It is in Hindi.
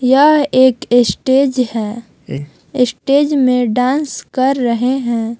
यह एक स्टेज है स्टेज में डांस कर रहे हैं।